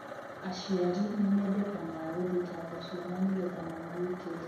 Aciari nimeendekanaga gũthitanga ciana nigetha mamagitere.